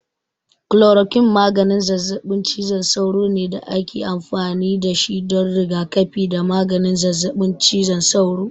Kulorokwin maganin zazzaɓin cizon sauro ne da ake amfani da shi don rigakafi da maganin zazzaɓin cizon sauro.